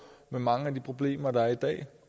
med mange af de problemer der er i dag